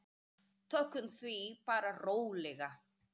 Tökum því bara rólega.